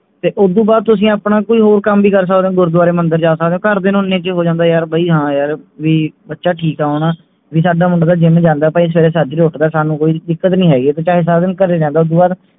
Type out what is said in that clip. ਤੇ ਓਦੂੰ ਬਾਅਦ ਤੁਸੀਂ ਆਪਣਾ ਕੋਈ ਹੋਰ ਕੰਮ ਵੀ ਕਰ ਸਕਦੇ ਹੋ ਗੁਰਦਵਾਰੇ ਮੰਦਰ ਜਾ ਸਕਦੇ ਹੋ ਘਰ ਦੀਆਂ ਨੂੰ ਇੰਨੇ ਚ ਹੀ ਹੋ ਜਾਂਦੇ ਵੀ ਯਾਰ ਬਈ ਹਾਂ ਯਾਰ ਵੀ ਬੱਚਾ ਠੀਕ ਆ ਹੁਣ ਵੀ ਸਾਡਾ ਮੁੰਡਾ ਤਾਂ gym ਜਾਂਦਾਬਈ ਸਵੇਰੇ ਸੱਜਰੇ ਉੱਠਦਾ ਸਾਨੂ ਕੋਈ ਦਿੱਕਤ ਨਹੀਂ ਹੈਗੀ ਤੇ ਚਾਹੇ ਸਾਰਾ ਦਿਨ ਘਰੇ ਰਹਿੰਦੇ ਓਦੂੰ ਬਾਅਦ